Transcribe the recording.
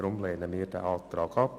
Deshalb lehnen wir diesen Antrag ab.